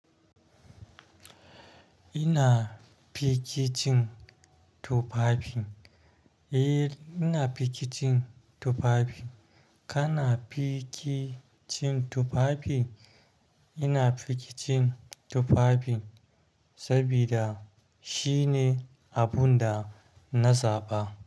Ina fiki cin tufafi. Eh, ina fiki cin tufafin. Kana fiki cin tufafi? Ina fiki cin tufafin sabida shine abun da na zaɓa.